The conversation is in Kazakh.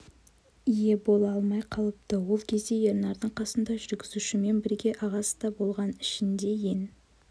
ие бола алмай қалыпты ол кезде ернардың қасында жүргізушімен бірге ағасы да болған ішінде ең